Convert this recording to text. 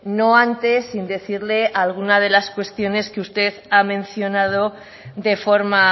no antes sin decirle alguna de las cuestiones que usted ha mencionado de forma